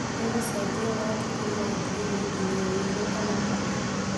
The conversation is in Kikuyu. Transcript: ĩgũcejia rangi kuma ngirini nginya wĩirũ kana papũ